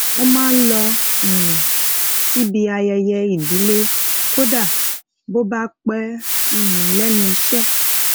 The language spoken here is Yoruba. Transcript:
ó máa ń lọ um síbi ayẹyẹ ìdílé kódà bo ba pe um lenu ise